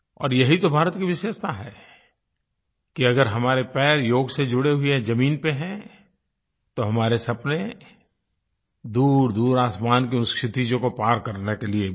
और ये ही तो भारत की विशेषता है कि अगर हमारे पैर योग से जुड़े हुए ज़मीन पर हैं तो हमारे सपने दूरदूर आसमानों के उन क्षितिजों को पार करने के लिये भी हैं